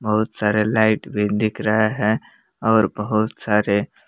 बहुत सारे लाइट भी दिख रहे है और बहुत सारे--